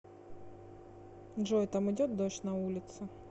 джой там идет дождь на улице